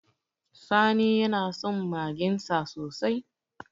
Sani yana son magensa sosai